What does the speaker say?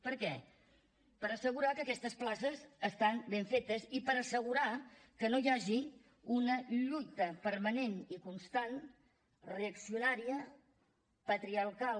per què per assegurar que aquestes places estan ben fetes i per assegurar que no hi hagi una lluita permanent i constant reaccionària patriarcal